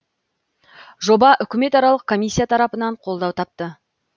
жоба үкіметаралық комиссия тарапынан қолдау тапты